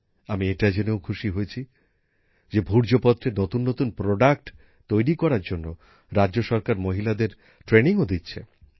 আমি এটা জেনেও খুশি হয়েছি যে ভূর্জপত্রের নতুন নতুন জিনিস তৈরি করার জন্য রাজ্য সরকার মহিলাদের প্রশিক্ষণও দিচ্ছে